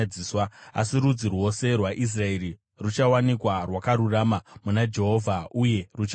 Asi rudzi rwose rwaIsraeri ruchawanikwa rwakarurama muna Jehovha uye ruchafara.